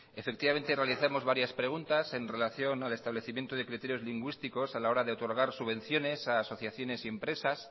efectivamente realizamos varias preguntas en relación al establecimiento de criterios lingüísticos a la hora de otorgar subvenciones a asociaciones y empresas